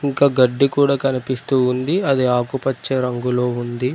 ఇంకా గడ్డి కూడా కనిపిస్తూ ఉంది. అది ఆకుపచ్చ రంగులో ఉంది.